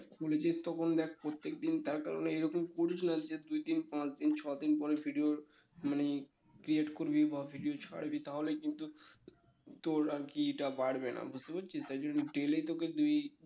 খুলেছিস তখন দেখ প্রত্যেকদিন তার কারণে এরকম করিস না যে দুইদিন পাঁচদিন ছদিন পরে video মানে create করবি বা video create করবি বা ছাড়বি তাহলেই কিন্তু তোর আরকি এটা বাড়বে না বুঝতে পারছিস তাই জন্য daily তোকে দুই